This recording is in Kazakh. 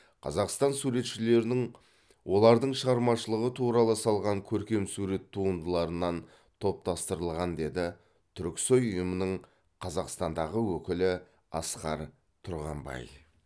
қазақстан суретшілерінің олардың шығармашылығы туралы салған көркемсурет туындыларынан топтастырылған деді түрксой ұйымының қазақстандағы өкілі асқар тұрғанбай